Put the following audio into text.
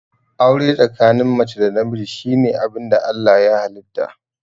Aure tsakanin mace da namiji shine abinda Allah ya halitta